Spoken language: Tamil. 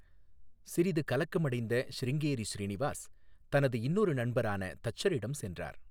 சிறிது கலக்கமடைந்த சிருங்கேரி ஸ்ரீநிவாஸ், தனது இன்னொரு நண்பரான தச்சரிடம் சென்றார்.